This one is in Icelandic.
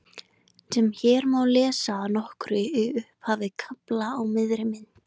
sem hér má lesa að nokkru í upphafi kafla á miðri mynd